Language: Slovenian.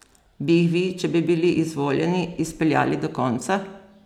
Bi jih vi, če bi bili izvoljeni, izpeljali do konca?